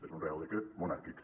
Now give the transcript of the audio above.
és un reial decret monàrquic